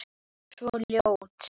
Svo ljótt.